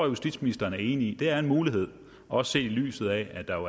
justitsministeren er enig i er en mulighed også set i lyset af at